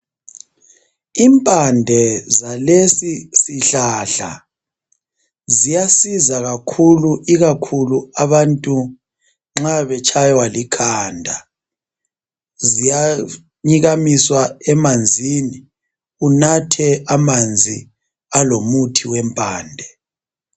Impande zalesi sihlahla ziyasiza kakhulu ikakhulu abantu nxa betshaywa likhanda ziyanyikamiswa emanzini unathe amanzi alomuthi wempande